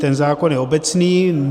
Ten zákon je obecný.